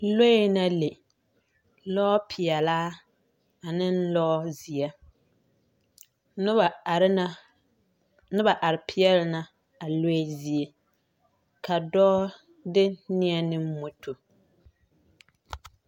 Lͻԑ na le, lͻͻ peԑlaa ane lͻͻzeԑ. Noba are na, noba are peԑle na a lͻԑ zie. Ka dͻͻ de neԑ ne moto.